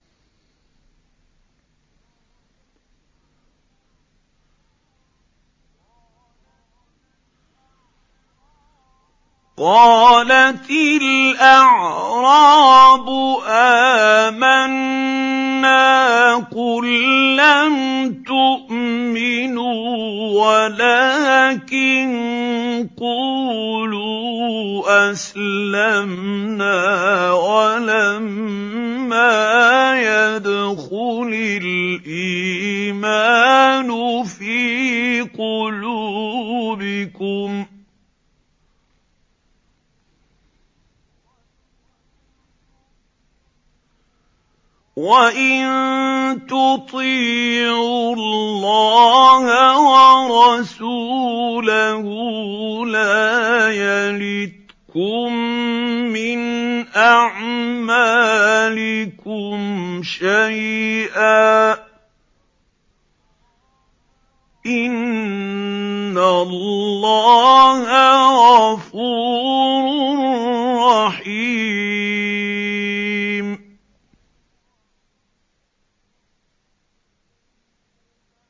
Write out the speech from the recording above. ۞ قَالَتِ الْأَعْرَابُ آمَنَّا ۖ قُل لَّمْ تُؤْمِنُوا وَلَٰكِن قُولُوا أَسْلَمْنَا وَلَمَّا يَدْخُلِ الْإِيمَانُ فِي قُلُوبِكُمْ ۖ وَإِن تُطِيعُوا اللَّهَ وَرَسُولَهُ لَا يَلِتْكُم مِّنْ أَعْمَالِكُمْ شَيْئًا ۚ إِنَّ اللَّهَ غَفُورٌ رَّحِيمٌ